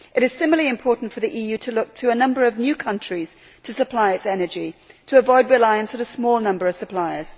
It is similarly important for the EU to look to a number of new countries to supply its energy, in order to avoid reliance on a small number of suppliers.